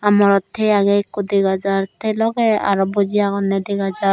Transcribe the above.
aa morot tei agey ekko dega jar sei logey aro boji agonney dega jar.